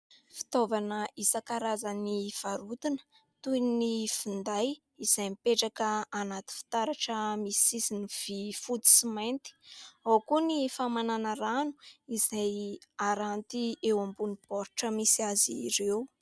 Fitaovana isankarazany varotina toy ny finday izay mipetraka anaty fitaratra misy sisiny vy fotsy sy mainty. Ao koa ny famanana rano izay haranty eo ambonin'ny baoritra misy azy ireo.